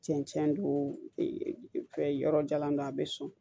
Cɛncɛn don yɔrɔ jalan don a bɛ sɔn